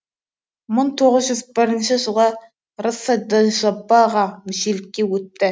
мың тоғыз жүз бірінші жылы рсджп ға мүшелікке өтті